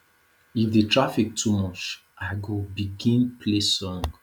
if di traffic too much i go begin play song